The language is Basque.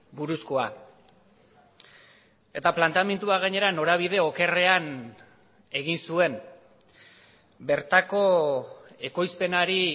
buruzkoa eta planteamendua gainera norabide okerrean egin zuen bertako ekoizpenari